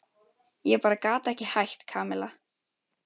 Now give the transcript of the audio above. Ég bara gat ekki hætt, Kamilla.